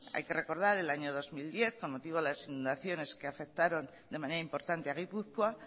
hay que recordar en el año dos mil diez con motivo de las inundaciones que afectaron de manera importante a gipuzkoa